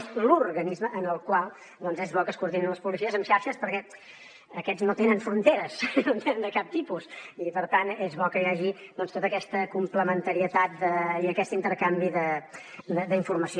és l’organisme en el qual és bo que es coordinin les policies en xarxes perquè aquests no tenen fronteres no en tenen de cap tipus i per tant és bo que hi hagi tota aquesta complementarietat i aquest intercanvi d’informació